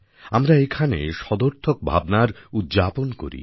আমরা এখানে সদর্থক ভাবনার উদ্যাপন করি